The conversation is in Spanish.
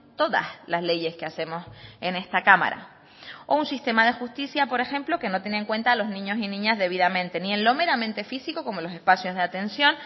todas las leyes que hacemos en esta cámara o un sistema de justicia por ejemplo que no tiene en cuenta a los niños y niñas debidamente ni en lo meramente físico como los espacios de atención